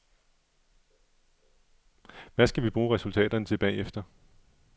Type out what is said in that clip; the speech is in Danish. Hvad skal vi bruge resultaterne til bagefter.